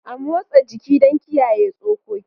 A motsa jiki don kiyaye tsokoki.